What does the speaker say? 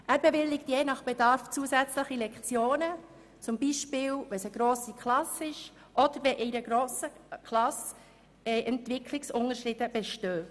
Er bewilligt je nach Bedarf zusätzliche Lektionen, zum Beispiel, wenn die Klasse gross ist, oder wenn grosse Entwicklungsunterschiede innerhalb der Klasse bestehen.